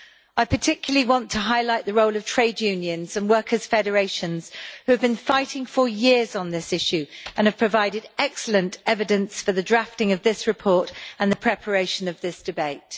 I particularly want to highlight the role of trade unions and workers' federations, who have been fighting for years on this issue and have provided excellent evidence for the drafting of this report and the preparation of this debate.